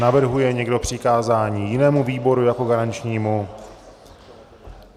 Navrhuje někdo přikázání jinému výboru jako garančnímu?